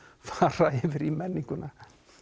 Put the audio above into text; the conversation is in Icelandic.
fara yfir í menninguna